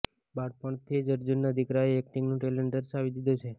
બાળપણથી જ અર્જુનનાં દીકરાએ એક્ટિંગનું ટેલેન્ટ દર્શાવી દીધું છે